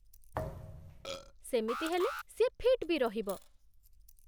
ସେମିତି ହେଲେ, ସିଏ ଫିଟ୍ ବି ରହିବ ।